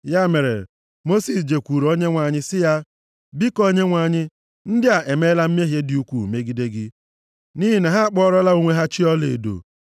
Ya mere, Mosis jekwuuru Onyenwe anyị sị ya, “Biko Onyenwe anyị, ndị a emeela mmehie dị ukwuu megide gị, nʼihi na ha akpụọlara onwe ha chi ọlaedo.